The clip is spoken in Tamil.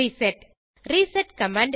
reset reset command